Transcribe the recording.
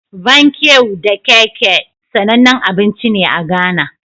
Bankeu da kekhe, sanannen abinci ne a Ghana.